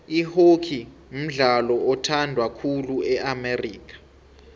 ihockey mdlalo othandwa khulu e amerika